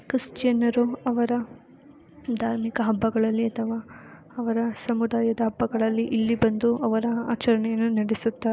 ಕ್ರಿಶ್ಚಿಯನರು ಅವರ ಧಾರ್ಮಿಕ ಹಬ್ಬಗಳಲ್ಲಿ ಅಥವಾ ಅವರ ಸಮುದಾಯದ ಹಬ್ಬಗಳಲ್ಲಿ ಇಲ್ಲಿ ಬಂದು ಅವರ ಆಚರಣೆಯನ್ನು ನಡೆಸುತಾರೆ .